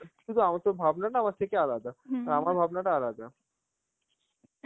কিন্তু আমার~ তোর ভাবনাটা আমার থেকে আলাদা আর আমার ভাবনাটা আলাদা.